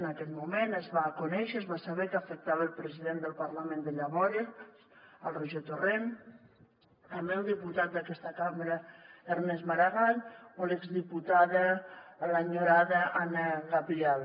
en aquell moment es va conèixer es va saber que afectava el president del parlament de llavors el roger torrent també el diputat d’aquesta cambra ernest maragall o l’exdiputada l’enyorada anna gabriel